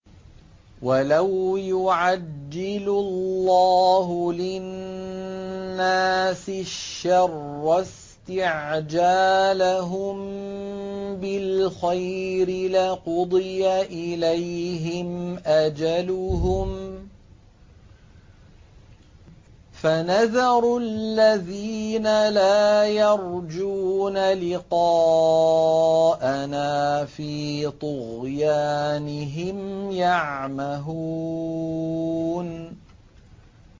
۞ وَلَوْ يُعَجِّلُ اللَّهُ لِلنَّاسِ الشَّرَّ اسْتِعْجَالَهُم بِالْخَيْرِ لَقُضِيَ إِلَيْهِمْ أَجَلُهُمْ ۖ فَنَذَرُ الَّذِينَ لَا يَرْجُونَ لِقَاءَنَا فِي طُغْيَانِهِمْ يَعْمَهُونَ